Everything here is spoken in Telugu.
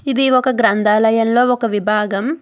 ఇది ఒక గ్రంథాలయంలో ఒక విభాగం.